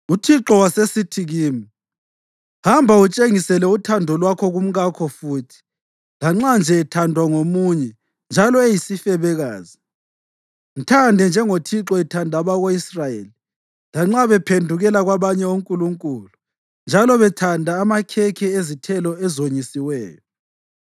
UThixo wasesithi kimi, “Hamba, utshengisele uthando lwakho kumkakho futhi, lanxa nje ethandwa ngomunye njalo eyisifebekazi. Mthande njengoThixo ethanda abako-Israyeli, lanxa baphendukela kwabanye onkulunkulu njalo bethanda amakhekhe ezithelo ezonyisiweyo.”